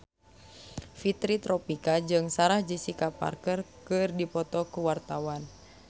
Fitri Tropika jeung Sarah Jessica Parker keur dipoto ku wartawan